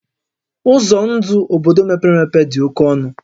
Ụzọ ndụ obodo mepere emepe dị oke ọnụ